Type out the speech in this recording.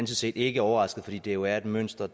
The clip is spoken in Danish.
set ikke overrasket fordi det jo er et mønster